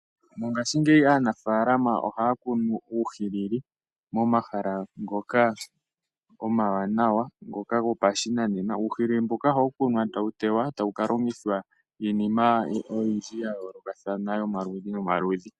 Mongaashingeyi aanafaalama ohaya kunu uuhilili momahala ngoka omawanawa gopashinanena. Uuhilili mbuka ohawu kunwa tawu te wa e tawu ka longithwa iinima oyindji ya yoolokathana yomaludhi nomaludhi.